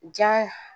Ja